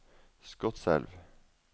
Skotselv